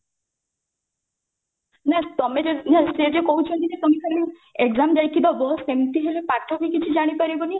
ନାଇଁ ତମେ ଯଦି ନାଇ ସିଏ ଯଉ କହୁଛନ୍ତି ଯେ ତମେ ଖାଲି exam ଯାଇକି ଦବ ସେମିତି ହେଲେ ପାଠ ବି କିଛି ଜାଣିପରିବନି